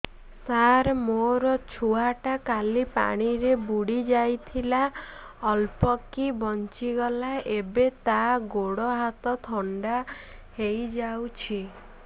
ସାର ମୋ ଛୁଆ ଟା କାଲି ପାଣି ରେ ବୁଡି ଯାଇଥିଲା ଅଳ୍ପ କି ବଞ୍ଚି ଗଲା ଏବେ ତା ଗୋଡ଼ ହାତ ଥଣ୍ଡା ହେଇଯାଉଛି